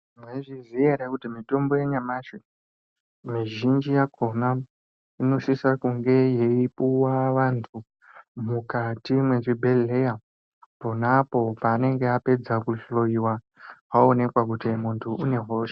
Maizviziya here kuti mitombo yanyamashi mizhinji yakona inopiwa Vantu muzvibhedhlera apedza kuhloyiwa piano paanenge aonekwa kuti ane hosha .